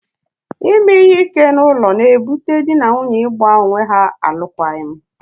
Ime ihe ike n'ime ụlọ e butela dị na nwunye ị gba onwe ha alụkwaghịm.